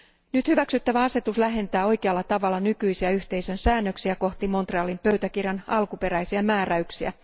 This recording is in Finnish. Nyt hyväksyttävä asetus lähentää oikealla tavalla nykyisiä yhteisön säännöksiä kohti Montrealin pöytäkirjan alkuperäisiä määräyksiä.